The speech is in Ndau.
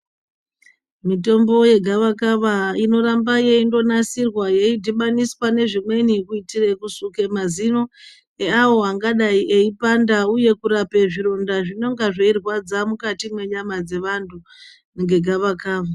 Mitombo ye gava kava inoramba yeindo nasirwa yei dhibaniswa ne zvimweni kuitire kusuke mazino eavo vangadai eyi panda uye kurape zvironda zvinonga zvei rwadza mukati mwe nyama dze vantu nge gava kava.